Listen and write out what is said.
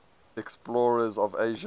explorers of asia